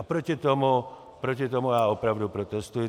A proti tomu já opravdu protestuji.